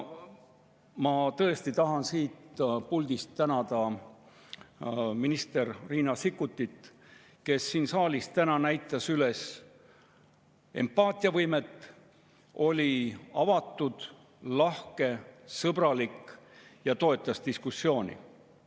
Ma tõesti tahan siit puldist tänada minister Riina Sikkutit, kes siin saalis on täna näidanud üles empaatiavõimet, on olnud avatud, lahke, sõbralik ja toetanud diskussiooni.